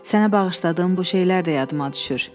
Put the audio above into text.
Sənə bağışladım bu şeylər də yadıma düşür.